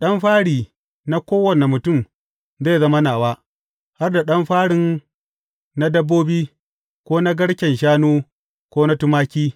Ɗan fari na kowane mutum zai zama nawa, har da ɗan farin na dabbobi, ko na garken shanu ko na tumaki.